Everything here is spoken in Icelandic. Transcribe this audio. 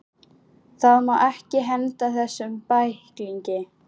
Það má ekki henda þessum bæklingi!